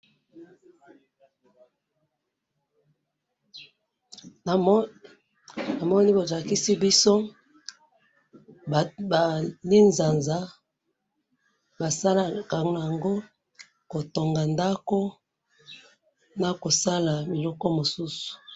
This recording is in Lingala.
Namoni balakisi biso ba linzanza, basalaka naango kotonga ndako, nakosala biloko mosusu.